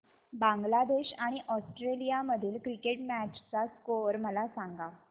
बांगलादेश आणि ऑस्ट्रेलिया मधील cricket match चा स्कोअर मला सांगा